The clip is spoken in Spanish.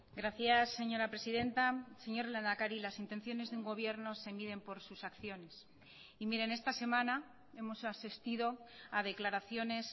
gracias señora presidenta señor lehendakari las intenciones de un gobierno se miden por sus acciones y miren esta semana hemos asistido a declaraciones